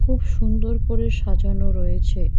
খুব সুন্দর করে সাজানো রয়েছে।